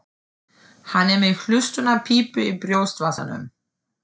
Hann er með hlustunarpípu í brjóstvasanum.